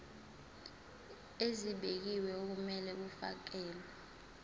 ezibekiwe okumele kufakelwe